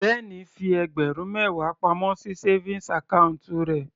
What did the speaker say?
Ben fi ẹgbẹ̀rún mẹwa pamọ́ sí savings account rẹ̀.